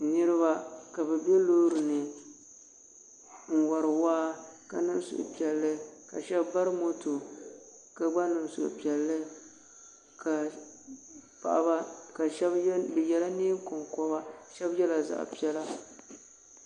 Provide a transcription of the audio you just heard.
Niriba ka bɛ be loori ni n wari waa ka niŋ suhupiɛlli ka sheba bari moto ka gba niŋ suhupiɛlli ka paɣaba bɛ yela niɛn'konkoba.